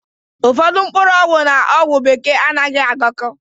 Ụfọdụ mkpọrọgwụ n'ogwu bekee anaghị agako